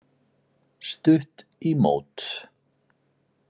Stutt í mót.